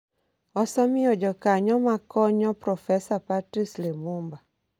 osemiyo jokanyo ma konyo Profesa Patrice Lumumba,